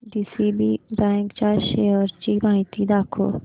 DCB bank च्या shares ची माहिती दाखव